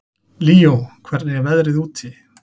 Líó, hvernig er veðrið úti?